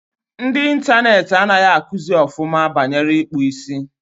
Ndi Interneeti angahi akuzi ofuma banyere ikpu isi